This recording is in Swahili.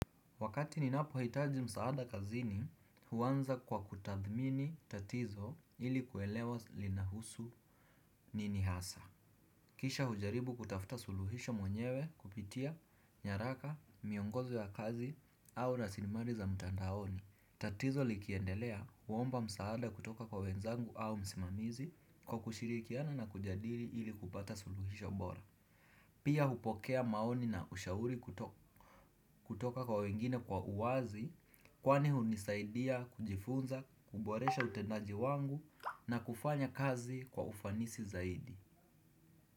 Wakati ninapo hitaji msaada kazini, huwanza kwa kutathmini tatizo ili kuelewa linahusu ninihasa. Kisha hujaribu kutafuta suluhisho mwenyewe kupitia, nyaraka, miongozo ya kazi au rasilimali za mtandaoni. Tatizo likiendelea huomba msaada kutoka kwa wenzangu au msimamizi kwa kushirikiana na kujadili ili kupata suluhisho bora. Pia hupokea maoni na ushauri kutoka kwa wengine kwa uwazi. Kwani hunisaidia kujifunza, kuboresha utendaji wangu na kufanya kazi kwa ufanisi zaidi.